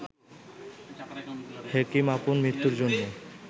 হেকিম আপন মৃত্যুর জন্য